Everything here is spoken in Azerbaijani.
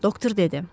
doktor dedi.